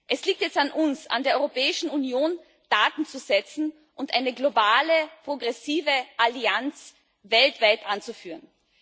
Es liegt jetzt an uns, an der Europäischen Union, Taten zu setzen und eine globale, progressive Allianz weltweit anzuführen.